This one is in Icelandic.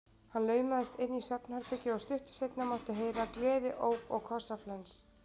Hann laumaðist inn í svefnherbergið og stuttu seinna mátti heyra gleðióp og kossaflens.